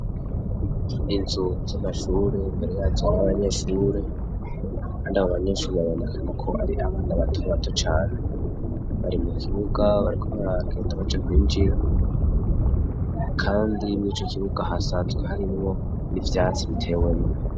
Inzu z'amashure imbere yazo hari abanyeshure kandi abobanyeshure babonekana ko ar'abana batobato cane bari mukibuga bariko baragenda baja kwinjira. Kandi mw'icokibuga hasanzwe harimwo n'ivyatsi biteyemwo.